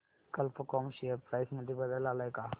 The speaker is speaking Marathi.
कल्प कॉम शेअर प्राइस मध्ये बदल आलाय का